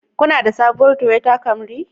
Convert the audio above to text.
Kuna da sabuwar Toyota Camry